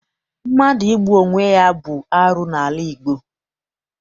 Mmadụ igbu onwe bụ arụ n'ala Igbo.